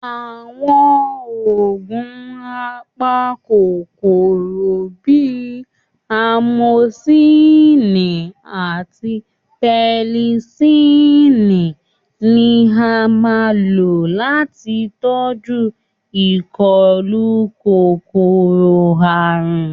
Àwọn oògùn apakòkòrò bíi amosílìn àti pẹnisílìn ni a máa ń lò láti tọjú ìkọlù kòkòrò-àrùn